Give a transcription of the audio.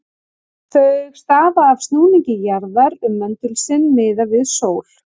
Þau stafa af snúningi jarðar um möndul sinn, miðað við sól.